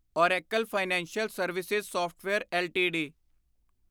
Oracle financial service software LTD